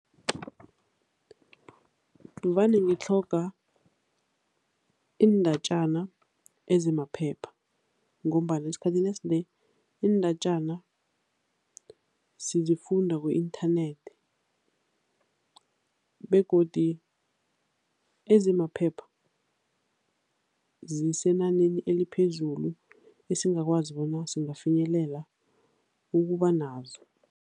Vane ngitlhoga iindatjana ezimaphepha ngombana esikhathini esinengi iindatjana sizifunda ku-inthanethi begodi ezimaphepha zisenaneni eliphezulu esingakwazi bona singafinyelela ukuba nazo.